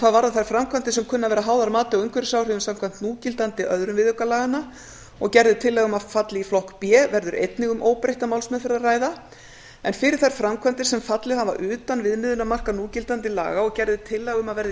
hvað varðar þær framkvæmdir sem kunna að vera háðar mati á umhverfisáhrifum samkvæmt núgildandi öðrum viðauka laganna og gerð er tillaga um að falli í flokk b verður einnig um óbreytta málsmeðferð að ræða fyrir þær framkvæmdir sem fallið hafa utan viðmiðunarmarka núgildandi laga og gerð er tillaga um að verði